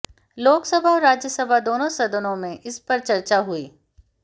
लोकसभा और राज्यसभा दोनों सदनों में इसपर चर्चा हुई